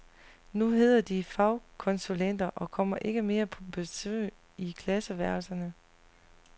Nu hedder de fagkonsulenter og kommer ikke mere på besøg i klasseværelserne.